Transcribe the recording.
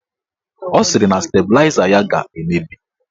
Ọ sịrị na stabịlaịza ya ga-emebi